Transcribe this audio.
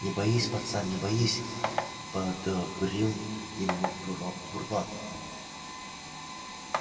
не боись пацан не боись подбодрил его бурбон